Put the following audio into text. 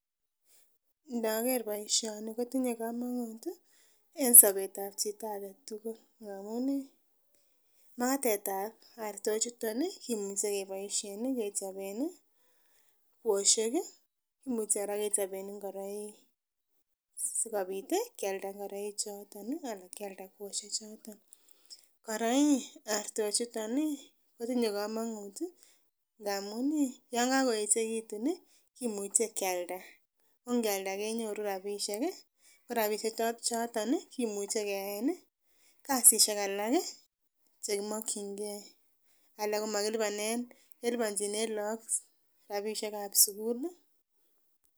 ndaker boisioni kotinye komonuut en sobet ab chito agetugul, ngamuun ih magatetab artochutpon ih kimuche keboisien ih kechoben ih kwoshek imuche kora kechoben ingoroik sikobit kyalda ingoroik choton anan kyalda kwoshek choton. Kora ih artok chuton ih kotinye komonut ngamuun yan kagoechegitun kimuche kyalda ko ngyalda kenyoru rapishek go rapishek choton kimuche keyaen kasishek alak chekimakkyinge alak komakilipanen keliponjinen look rapishekab sugul